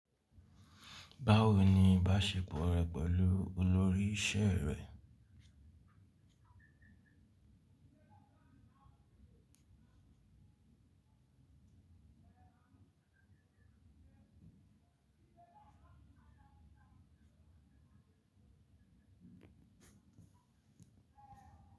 Báwo ni ìbáṣepọ̀ rẹ pẹ̀lú olórí iṣẹ́ rẹ?